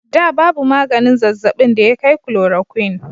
Da babu maganin zazzabin da ya kai chloroquine.